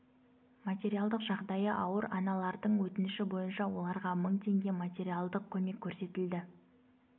материалдық жағдайы ауыр аналардың өтініші бойынша оларға мың теңге материалдық көмек көрсетілді